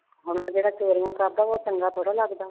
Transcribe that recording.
ਹੁਣ ਉਹ ਜਿਹੜਾ ਚੋਰੀਆਂ ਕਰਦਾ ਉਹ ਚੰਗਾ ਥੋੜ੍ਹਾ ਲੱਗਦਾ।